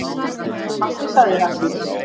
En pabbi sagði Ragnhildur.